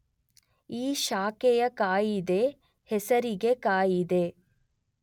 ಈ ಶಾಖೆಯ ಕಾಯಿದೆ ಹೆಸರಿಗೆ ಕಾಯಿದೆ